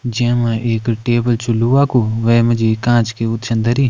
जैमा एक टेबल चु लोहा कु वेमा जी कांच की उ छन धरी।